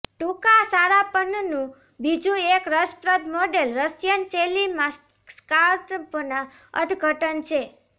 ટૂંકા સારાપનનું બીજું એક રસપ્રદ મોડેલ રશિયન શૈલીમાં સ્કાર્ફના અર્થઘટન છે